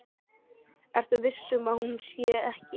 Ertu viss um að hún sé ekki.